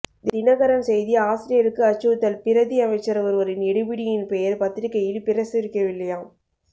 தினகரன் செய்தி ஆசிரியருக்கு அச்சுறுத்தல் பிரதி அமைச்சர் ஒருவரின் எடு பிடியின் பெயர் பத்திரிகையில் பிரசுரிக்கவில்லையாம்